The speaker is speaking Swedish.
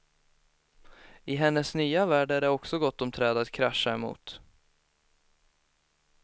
I hennes nya värld är det också gott om träd att krascha emot.